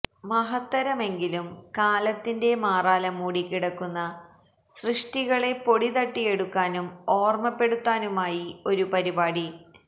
മഹത്തരമെങ്കിലും കാലത്തിന്റെ മാറാല മൂടി കിടക്കുന്ന സൃഷ്ടികളെ പൊടി തട്ടിയെടുക്കാനും ഓര്മ്മപ്പെടുത്താനുമായി ഒരു പരിപാടി